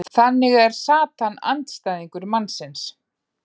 þannig er satan andstæðingur mannsins